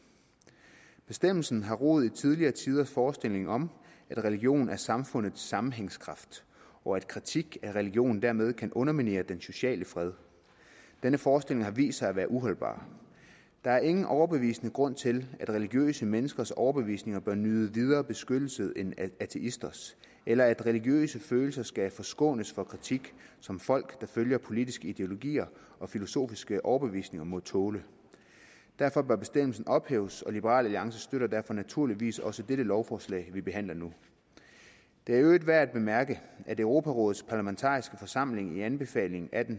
bestemmelsen har rod i tidligere tiders forestilling om at religion er samfundets sammenhængskraft og at kritik af religionen dermed kan underminere den sociale fred denne forestilling har vist sig at være uholdbar der er ingen overbevisende grund til at religiøse menneskers overbevisninger bør nyde videre beskyttelse end ateisters eller at religiøse følelser skal forskånes for kritik som folk der følger politiske ideologier og filosofiske overbevisninger må tåle derfor bør bestemmelsen ophæves og liberal alliance støtter derfor naturligvis også dette lovforslag vi behandler nu det er i øvrigt værd at bemærke at europarådets parlamentariske forsamling i anbefaling atten